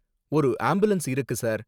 ஒரு ஆம்புலன்ஸ் இருக்கு, சார்.